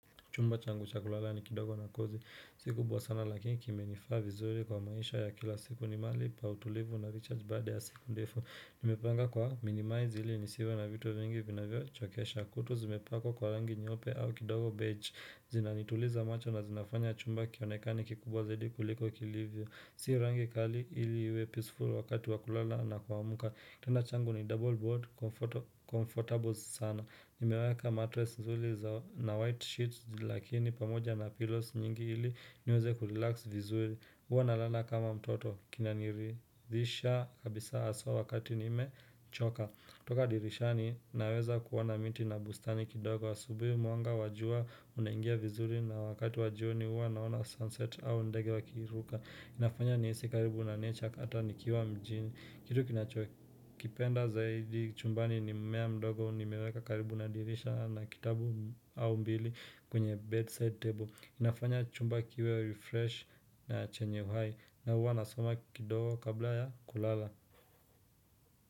Chumba changu cha kulala ni kidogo na kozi. Si kubwa sana lakini kimenifaa vizuri kwa maisha ya kila siku ni mahali pa utulivu na recharge baade ya siku ndefu. Nimepanga kwa minimize ili nisiwe na vitu vingi vinavyo chokesha kuta zimepakwa kwa rangi nyeupe au kidogo badge. Zinanituliza macho na zinafanya chumba kionekani kikubwa zaidi kuliko kilivyo. Si rangi kali ili iwe peaceful wakati wakulala na kuamka. Kitanda changu ni double board, comfortable sana. Nimeweka mattress nzuri na white sheets lakini pamoja na pillows nyingi ili niweze kurelax vizuri huwa nalala kama mtoto kinaniridhisha kabisa aswa wakati nime choka. Toka dirishani naweza kuona miti na bustani kidogo asubui mwanga wa jua unaingia vizuri na wakati wajoni huwa naona sunset au ndege wakiruka inafanya nihisi karibu na nature hata nikiwa mjini Kitu kinachokipenda zaidi chumbani ni mmea mdogo ni meweka karibu na dirisha na kitabu au mbili kwenye bedside table. Inafanya chumba kiwe refresh na chenye uhai na huwa nasoma kidogo kabla ya kulala.